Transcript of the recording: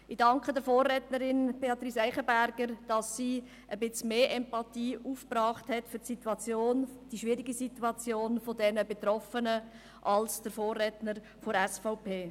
Ich danke der Vorrednerin, Beatrice Eichenberger, dass sie für die schwierige Situation der Betroffenen etwas mehr Empathie aufgebracht hat als der Vorredner von der SVP.